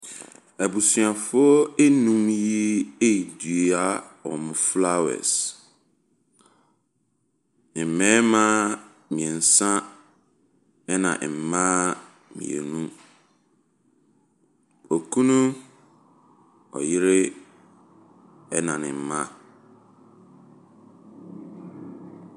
Abusuafoɔ nnum yi redua wɔn flowers; mmarima mmeɛnsa, ɛna mma mmienu, Okunu, ɔyere, ɛna ne mma.